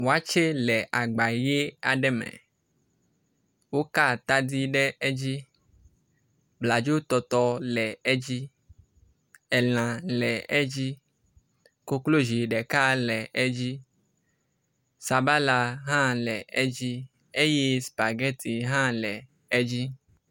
wɔtsɛ le agba yi aɖe me woka atadi ɖe edzi bladzo tɔtɔ le edzi elã le edzi koklozi ɖeka hã le edzi sabala le edzi eye spagɛti hã le edzi